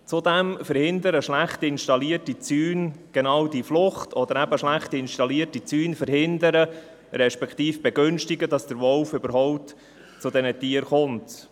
Zudem verhindern schlecht installierte Zäune genau diese Flucht, oder schlecht installierte Zäune verhindern respektive begünstigen eben, dass der Wolf überhaupt zu diesen Tieren kommt.